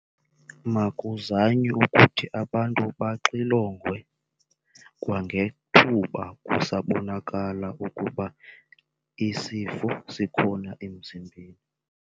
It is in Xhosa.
Makuzanywe ukuthi abantu baxilongwe kwangethuba kusabonakala ukuba isifo sikhona emzimbeni.